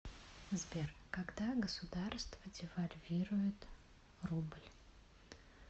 сбер когда государство девальвирует рубль